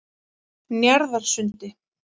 Njarðarsundi